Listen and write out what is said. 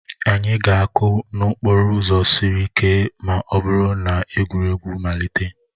Anyị ga-akụ n'okporo ụzọ siri ike ma ọ bụrụ na egwuregwu amalite